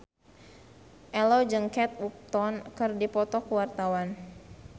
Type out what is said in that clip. Ello jeung Kate Upton keur dipoto ku wartawan